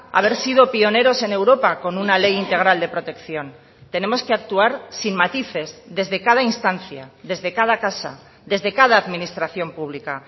haber sido pioneros en europa con una ley integral de protección tenemos que actuar sin matices desde cada instancia desde cada casa desde cada administración pública